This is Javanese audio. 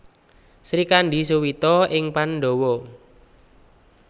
Srikandhi Suwita ing Pandhawa